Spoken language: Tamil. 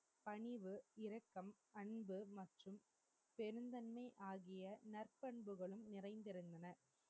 பணிவு இறக்கம் அன்பு மற்றும் பெருந்தன்மை ஆகிய நற்பண்புகளும் நிறைந்திருந்தன